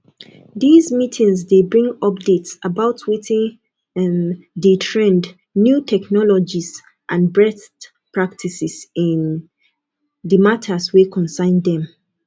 these meetings de bring updates about wetin um de trend new technologies and best practices in the matters wey concern them